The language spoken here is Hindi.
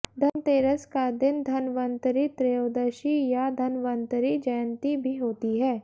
धनतेरस का दिन धन्वन्तरि त्रयोदशी या धन्वन्तरि जयन्ती भी होती है